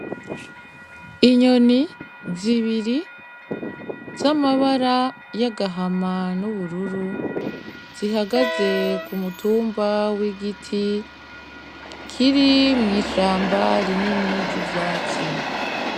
Inyoni zibiri z'amabara y'agahama n'ubururu zihagaze kumutumba wigiti Kiri mw'ishamba rinini ry'ivyatsi